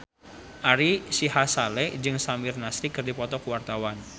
Ari Sihasale jeung Samir Nasri keur dipoto ku wartawan